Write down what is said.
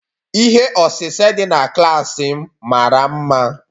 Ihe osise dị na klaasị m mara mma